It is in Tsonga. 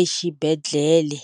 exibedhlele.